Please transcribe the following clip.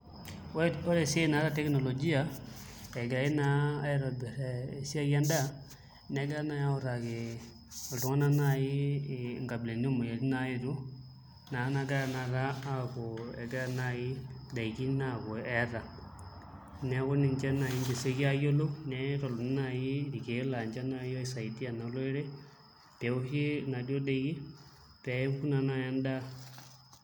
Ore esiai naaata teknologia egirai naa aitobirr esiai endaa negirai nayii autaki iltung'anak naayii inkabilaitin etii naayetuo naagira naa ake ayaku naai indaikin aaku eta neeku ninche nayii eioki ayiolou neitokini nayii irkiek laa ninche nayii oisaidia naa olorere peuni inaaduo daiki peepuku naa naji naadu endaa.